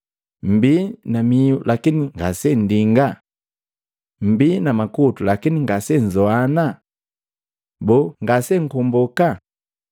Mmbii na miu lakini ngase nndinga? Mmbii na makutu lakini ngase nnzoana? Boo ngasenkomboka